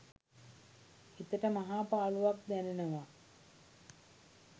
හිතට මහා පාළුවක් දැනෙනවා.